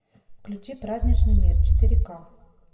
включи праздничный мир четыре ка